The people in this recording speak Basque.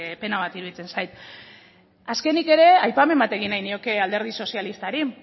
pena bat iruditzen zait azkenik ere aipamen bat egin nahi nioke alderdi sozialistari